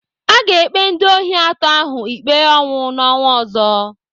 Aga ekpe ndị ohi atọ ahụ ikpe ọnwụ n'ọnwa ọzọ.